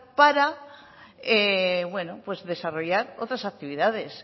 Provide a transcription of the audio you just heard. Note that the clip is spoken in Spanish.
para bueno desarrollar otras actividades